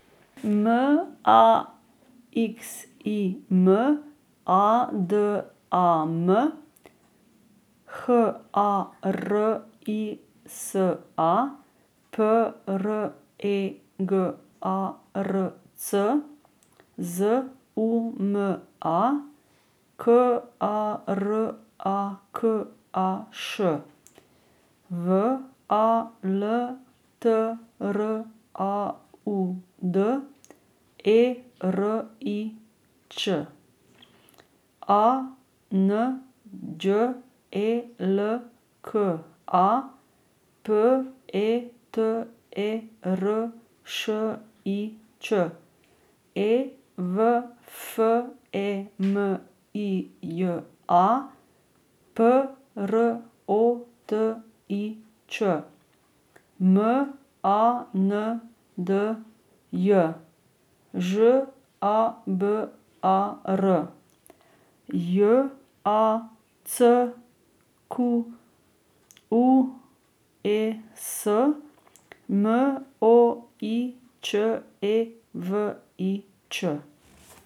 M A X I M, A D A M; H A R I S A, P R E G A R C; Z U M A, K A R A K A Š; W A L T R A U D, E R I Ć; A N Đ E L K A, P E T E R Š I Č; E V F E M I J A, P R O T I Č; M A N D J, Ž A B A R; J A C Q U E S, M O I Č E V I Ć.